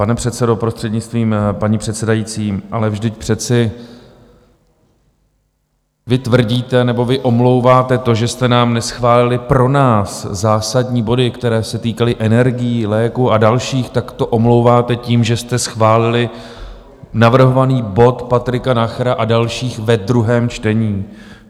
Pane předsedo, prostřednictvím paní předsedající, ale vždyť přece vy tvrdíte, nebo vy omlouváte to, že jste nám neschválili pro nás zásadní body, které se týkaly energií, léků a dalších, tak to omlouváte tím, že jste schválili navrhovaný bod Patrika Nachera a dalších ve druhém čtení.